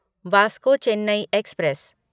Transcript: Vasco Chennai express